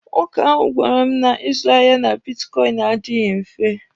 Nwoke ahụ gwara m na ịzụ ahịa na bitkọịnị adịghị mfe.